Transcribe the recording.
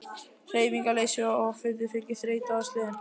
Hreyfingarleysi og offitu fylgir þreyta og slen.